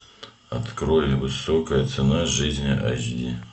открой высокая цена жизни эйч ди